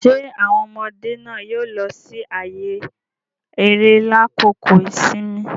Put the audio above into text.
Ṣe awọn ọmọde náà yóò lọ si ààyè eré lakoko ìsinmi?